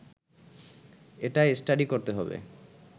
এটা স্টাডি করতে হবে